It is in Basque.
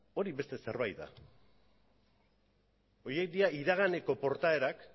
hori beste zerbait da horiek dira iraganeko portaerak